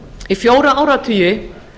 í fjóra áratugi